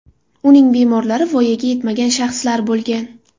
Uning bemorlari voyaga yetmagan shaxslar bo‘lgan.